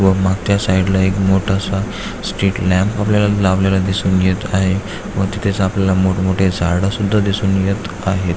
व मागच्या साइड ला एक मोठ असं लॅम्प वगेरे लावलेलं दिसून येत आहे व तिथेच आपल्याला मोठ मोठे झाड सुद्धा दिसून येत आहेत.